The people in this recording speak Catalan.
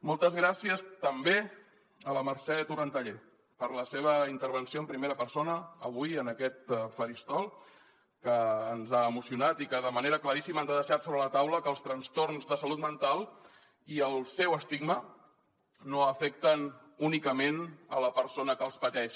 moltes gràcies també a la mercè torrentallé per la seva intervenció en primera persona avui en aquest faristol que ens ha emocionat i que de manera claríssima ens ha deixat sobre la taula que els trastorns de salut mental i el seu estigma no afecten únicament la persona que els pateix